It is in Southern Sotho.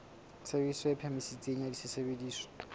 tshebediso e phahameng ya sesebediswa